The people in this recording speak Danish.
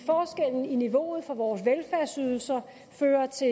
niveauet for vores velfærdsydelser fører til